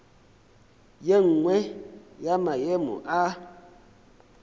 ye nngwe ya maemo a